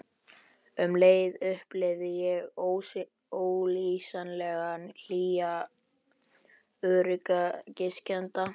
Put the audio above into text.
Um leið upplifði ég ólýsanlega hlýja öryggiskennd.